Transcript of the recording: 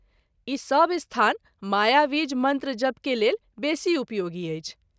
ई सभ स्थान मायाबीज मंत्र जप के लेल बेशी उपयोगी अछि।